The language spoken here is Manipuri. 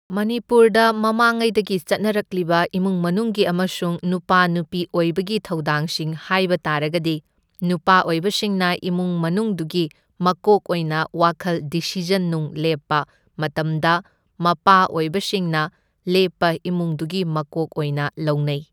ꯃꯅꯤꯄꯨꯔꯗ ꯃꯃꯥꯡ ꯉꯩꯗꯒꯤ ꯆꯠꯅꯔꯛꯂꯤꯕ ꯏꯃꯨꯡ ꯃꯅꯨꯡꯒꯤ ꯑꯃꯁꯨꯡ ꯅꯨꯄꯥ ꯅꯨꯄꯤ ꯑꯣꯏꯕꯒꯤ ꯊꯧꯗꯥꯡ ꯁꯤꯡ ꯍꯥꯏꯕ ꯇꯥꯔꯒꯗꯤ ꯅꯨꯄꯥ ꯑꯣꯏꯕꯁꯤꯡꯅ ꯏꯃꯨꯡ ꯃꯅꯨꯡꯗꯨꯒꯤ ꯃꯀꯣꯛ ꯑꯣꯏꯅ ꯋꯥꯈꯜ ꯗꯤꯁꯤꯖꯟ ꯅꯨꯡ ꯂꯦꯞꯄ ꯃꯇꯝꯗ ꯃꯄꯥ ꯑꯣꯏꯕꯁꯤꯡꯅ ꯂꯦꯞꯄ ꯏꯃꯨꯡꯗꯨꯒꯤ ꯃꯀꯣꯛ ꯑꯣꯏꯅ ꯂꯧꯅꯩ꯫